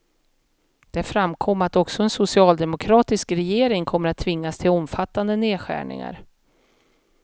Där framkom att också en socialdemokratisk regering kommer att tvingas till omfattande nedskärningar.